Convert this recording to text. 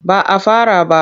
Ba a fara ba.